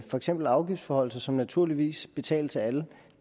for eksempel afgiftsforhøjelser som naturligvis betales af alle